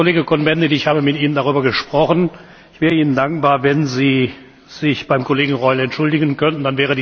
Herr Kollege Cohn Bendit, ich habe mit Ihnen darüber gesprochen. Ich wäre Ihnen dankbar, wenn Sie sich beim Kollegen Reul entschuldigen könnten.